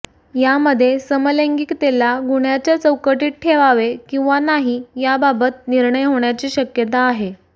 यामध्ये समलैंगिकतेला गुन्ह्याच्या चौकटीत ठेवावे किंवा नाही याबाबत निर्णय होण्याची शक्यता आहे